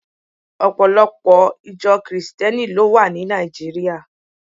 Ọpọ̀ Ìjọ Kìrìsìtíẹ́nì ló wà ní Nàìjíríà